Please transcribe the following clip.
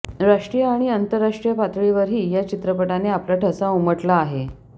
राष्ट्रीय आणि आंतरराष्ट्रीय पातळीवरही या चित्रपटाने आपला ठसा उमटला आहे